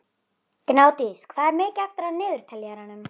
Gnádís, hvað er mikið eftir af niðurteljaranum?